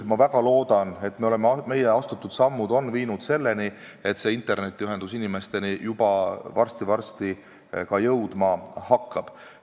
Ma väga loodan, et meie astutud sammud viivad selleni, et see internetiühendus varsti-varsti ka inimesteni jõuab.